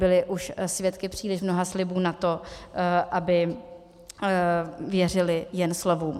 Byli už svědky příliš mnoha slibů na to, aby věřili jen slovům.